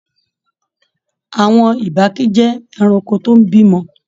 Àwọn ìbàkí jẹ ẹranko tó n b'imọ.